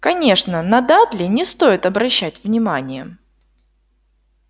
конечно на дадли не стоит обращать внимание